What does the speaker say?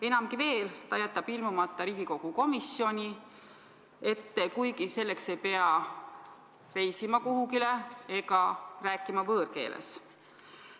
Enamgi veel, ta jättis ilmumata Riigikogu komisjoni ette, kuigi selleks ei pidanud kuhugi reisima ega rääkima võõrkeeles.